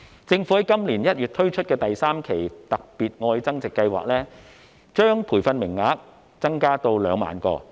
政府在今年1月推出的第三期"特別.愛增值"計劃，把培訓名額增加到2萬個。